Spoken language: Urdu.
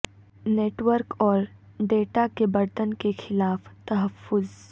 نیٹ ورک اور ڈیٹا کے برتن کے خلاف تحفظ